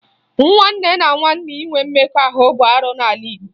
Nwanne na nwanne inwe mmekọ ahụ bụ arụ n'ala Igbo